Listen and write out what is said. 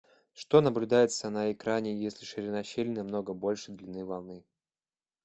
что наблюдается на экране если ширина щели намного больше длины волны